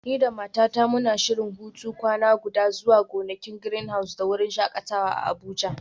Ni da matata muna shirin hutun kwana guda zuwa gonakin Greenhouse da wurin shakatawa a Abuja.